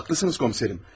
Haqqlısınız, komiserim.